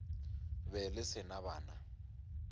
be le se na bana